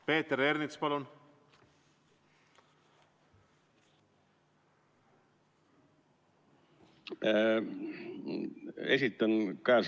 Peeter Ernits, palun!